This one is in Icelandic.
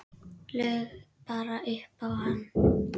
Laug bara upp á hann.